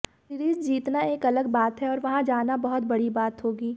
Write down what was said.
series जीतना एक अलग बात है और वहां जाना बहुत बड़ी बात होगी